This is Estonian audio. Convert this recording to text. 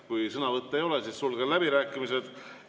Kui sõnavõtte ei ole, siis sulgen läbirääkimised.